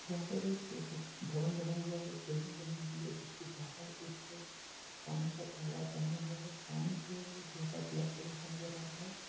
यहाँ पे एक पुष्प भवन बना हुआ है एक बिल्डिंग बनी हुई है। जिसके बाहर एक पानी का तालाब बना हुआ है। पानी जो है वो हल्का ब्लैक कलर का नजर आ रहा है।